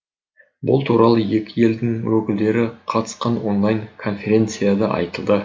бұл туралы екі елдің өкілдері қатысқан онлайн конференцияда айтылды